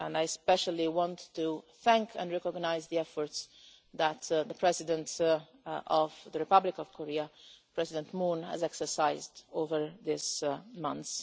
I especially want to thank and recognise the efforts that the President of the Republic of Korea, President Moon, has exercised over this month.